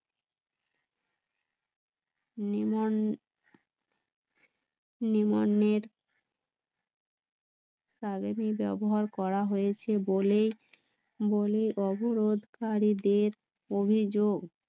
করা হয়েছে বলে অবরোধকারীদের অভিযোগ